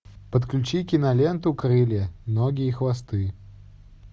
подключи киноленту крылья ноги и хвосты